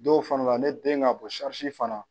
Dɔw fana la ne den ka bon sarisi fana